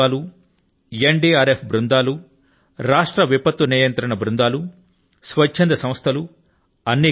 అన్ని ప్రభుత్వాలు N DRF బృందాలు రాష్ట్ర విపత్తు నియంత్రణ బృందాలు స్వచ్ఛంద సంస్థలు